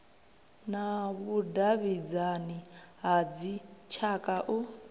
na vhudavhidzani ha dzitshaka u